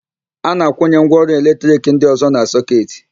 A na-akwụnye ngwaọrụ eletrik ndị ọ̀zọ́ na sọketị.